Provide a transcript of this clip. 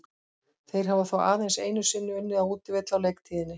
Þeir hafa þó aðeins einu sinni unnið á útivelli á leiktíðinni.